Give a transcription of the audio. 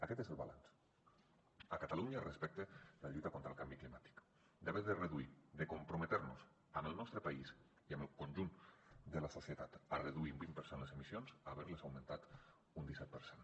aquest és el balanç a catalunya respecte a la lluita contra el canvi climàtic d’haver de reduir i de comprometre’ns amb el nostre país i amb el conjunt de la societat a reduir un vint per cent les emissions a haver les augmentat un disset per cent